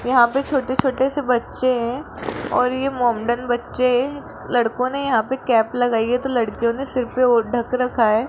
यहां पे छोटे-छोटे से बच्चे हैं और ये मोमडन बच्चे हैं लड़कों ने यहां पे कैप लगाई है तो लड़कियों ने सिर पर वो ढक रखा है।